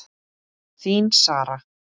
Þín Sara.